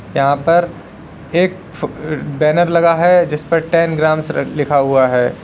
यहां पर एक फ् बैनर लगा है जिस पर टेन ग्राम्स लिखा हुआ है।